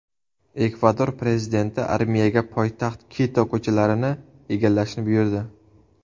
Ekvador prezidenti armiyaga poytaxt Kito ko‘chalarini egallashni buyurdi.